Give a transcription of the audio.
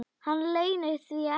Hann leynir því ekki.